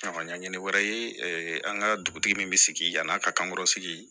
Ɲɛɲinilen wɛrɛ ye an ka dugutigi min bɛ sigi yan'a ka kan kɔrɔsigi